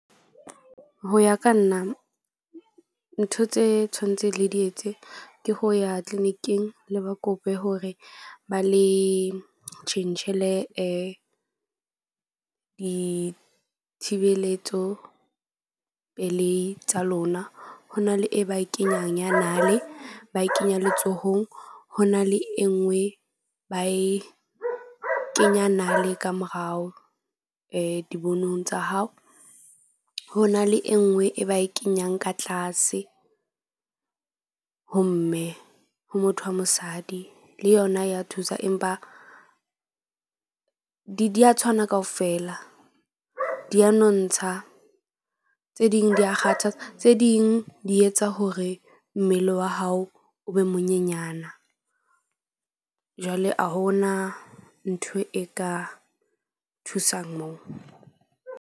Ho ya ka nna ntho tse tshwantse le di etse ke ho ya clinic-ing le ba kope hore ba le tjhentjhele ditshebeletso pelei tsa lona. Ho na le e ba e kenyang ya nale ba e kenya letsohong. Ho na le e nngwe ba e kenya nale ka morao dibonong tsa hao. Ho na le e nngwe e ba e kenyang ka tlase ho mme ho motho wa mosadi le yona ya thusa, empa di ya tshwana kaofela. Di a nontsha tse ding di ya kgathatsa tse ding di etsa hore mmele wa hao o be monyenyana. Jwale a ho na ntho e ka thusang moo.